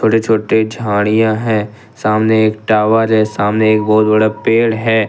बड़े छोटे झाड़ियां है सामने एक टावर है सामने एक बहुत बड़ा पेड़ है।